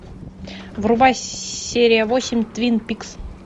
врубай серия восемь твин пикс